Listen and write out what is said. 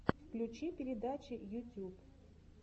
включи передачи ютьюб